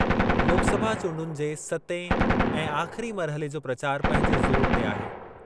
लोकसभा चूंडुनि जे सतें ऐं आख़िरी मरहले जो प्रचार पंहिंजे ज़ोर ते आहे।